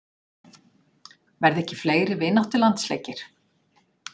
Verða ekki fleiri vináttulandsleikir?